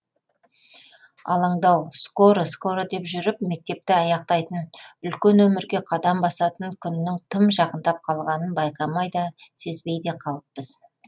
алаңдау скоро скоро деп жүріп мектепті аяқтайтын үлкен өмірге қадам басатын күннің тым жақындап қалғанын байқамай да сезбей де қалыппыз